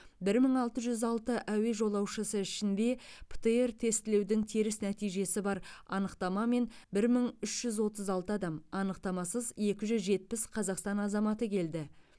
бір мың алты жүз алты әуе жолаушысы ішінде птр тестілеудің теріс нәтижесі бар анықтамамен бір мың үш жүз отыз алты адам анықтамасыз екі жүз жетпіс қазақстан азаматы келді